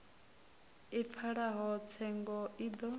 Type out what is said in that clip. i pfalaho tsengo i do